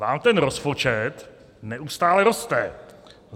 Vám ten rozpočet neustále roste.